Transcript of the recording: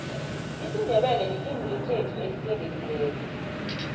isindebele lilimulesikhethu elitsenqekileko